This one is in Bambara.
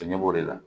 Ɲɛ b'o de la